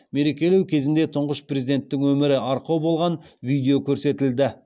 мерекелеу кезінде тұңғыш президенттің өмірі арқау болған видео көрсетілді